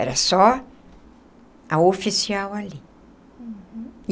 Era só a oficial ali. Uhum.